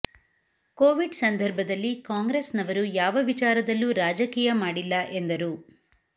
Covid ಸಂದರ್ಭದಲ್ಲಿ ಕಾಂಗ್ರೆಸ್ ನವರು ಯಾವ ವಿಚಾರದಲ್ಲೂ ರಾಜಕೀಯ ಮಾಡಿಲ್ಲ ಎಂದರು